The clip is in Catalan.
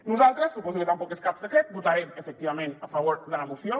nosaltres suposo que tampoc és cap secret votarem efectivament a favor de la moció